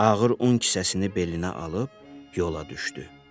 Ağır un kisəsini belinə alıb yola düşdü.